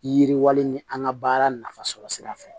Yiriwali ni an ka baara nafasɔrɔ sira fɛ